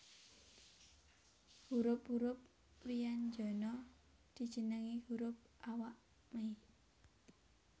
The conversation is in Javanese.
Hurup hurup wyanjana dijenengi hurup awak mei